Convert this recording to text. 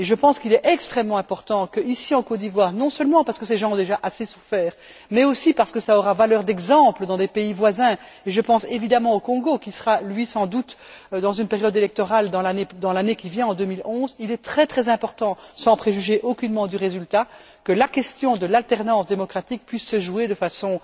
Je pense qu'il est extrêmement important qu'en Côte d'Ivoire non seulement parce que ces gens ont déjà assez souffert, mais aussi parce que cela aura valeur d'exemple dans des pays voisins, et je pense évidemment au Congo qui sera lui, sans doute, dans une période électorale dans l'année qui vient, en 2011 sans préjuger aucunement du résultat, la question de l'alternance démocratique puisse se jouer de façon